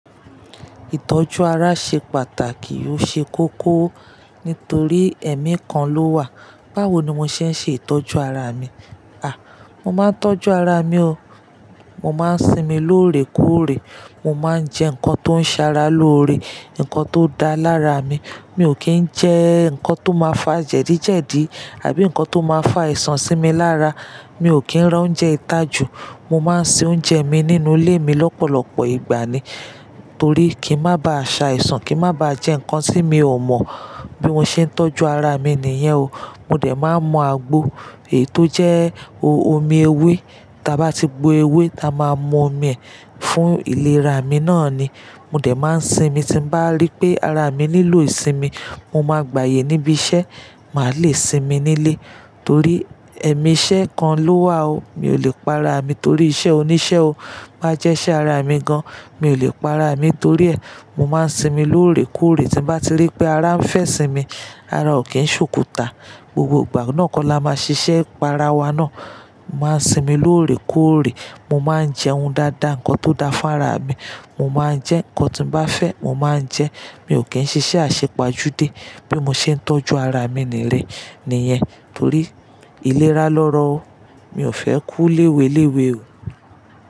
Ìtọ́jú ara ṣe pàtàkì, ó ṣe kókó nítorí ẹ̀mí kan ló wà. Báwo ni mo ṣe ń ṣe ìtọ́jú ara mi? À, mo máa ń tọ́jú ara mi o. Mo máa ń sinmi lóòrè kóòrè. Mo máa ń jẹ nǹkan tó ń ṣara lóore, nǹkan tó da lára mi. Mi ò kí ń jẹ nǹkan tó máa fà jẹ̀díjẹ̀dí àbí nǹkan tó máa fà aìsan sí mi lára. Mi ò kí ń rá oúnjẹ ìtajù. Mo máa ń se oúnjẹ mi nínú ilé mi lọ́pọ̀lọpọ̀ ìgbà ni torí kí n má ba à ṣa ìsan, kí n má ba à jẹ́ nǹkan tí mi ò mọ̀. Bí mo ṣe ń tọ́jú ara mi nìyẹn o. Mo dẹ̀ máa ń mu àgbo èyi tó jẹ́ omi ewé. Ti a bá ti gbo ewé, a máa mú omi ẹ̀ fún ìlera mi náà ni. Mo dẹ̀ máa ń sinmi. Ti n bá rí pé ara mi nílò ìsinmi, mo máa gbayè níbi iṣẹ́, màá le sinmi nílé torí ẹ̀mí iṣẹ́ kan ló wà o. Mi ò lè pa ara mi torí iṣẹ́ oníṣẹ́ o. Bá jẹ́ iṣẹ́ ara mi gan, mi ò lè pa ara mi torí ẹ̀. Mo máa ń sinmi lóòrè kóòrè. Ti n bá ti rí pé ara ń fẹ́ sinmi, ara ò kí ń ṣòkuta. Gbogbo ìgbà náà kọ́ la máa ṣiṣẹ́ pa ara wa náà. Mo máa ń sinmi lóòrè kóòrè. Mo máa ń jẹun dáadáa, nǹkan tó da fún ara mi. Mo máa ń jẹ́ nǹkan tí n bá fẹ́, mo máa ń jẹ́. Mi ò kí ń ṣiṣẹ́ àṣepajúdé. Bí mo ṣe ń tọ́jú ara mi nìyén nìyẹn torí ìlera lọ́rọ̀ o. Mi ò fẹ́ kú léweléwe o.